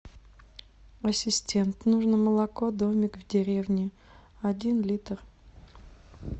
ассистент нужно молоко домик в деревне один литр